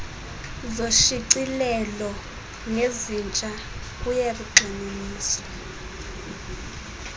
zoshicilelo nezintsha kuyakugxininiswa